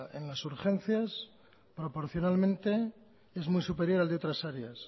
en las urgencias proporcionalmente es muy superior al de otras áreas